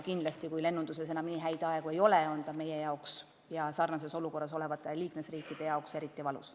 Kindlasti, kui lennunduses enam nii hea aeg ei ole, on see meie jaoks ja teiste sarnases olukorras olevate liikmesriikide jaoks eriti valus.